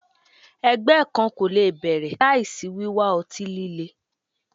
Ẹgbẹ kan ko le bẹrẹ laisi wiwa ọti-lile